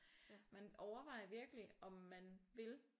Man overvejer virkelig om man vil